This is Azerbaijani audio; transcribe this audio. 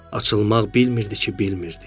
Açılmaq bilmirdi ki, bilmirdi.